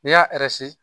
N'i y'a